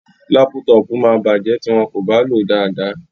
Lápútọpù máa bàjẹ́ tí wọn kò bá lò ó dáadáa.